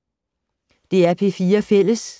DR P4 Fælles